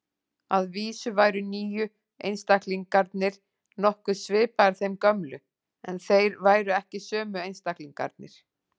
Að vísu væru nýju einstaklingarnir nokkuð svipaðir þeim gömlu, en þeir væru ekki sömu einstaklingarnir.